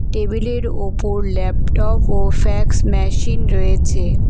Table -এর ওপর laptop ও ফ্যাক্স ম্যাশিন রয়েছে।